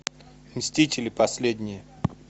мстители последние